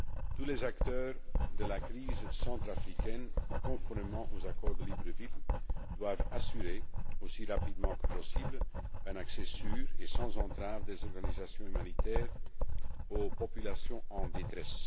Tous les acteurs de la crise centrafricaine, conformément aux accords de Libreville, doivent assurer, aussi rapidement que possible, un accès sûr et sans entraves des organisations humanitaires aux populations en détresse.